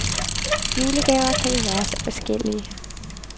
Julegaver kan jo være så forskellige.